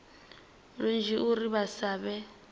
lunzhi uri vha sa vhe